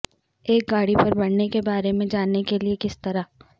ایک گاڑی پر بڑھنے کے بارے میں جاننے کے لئے کس طرح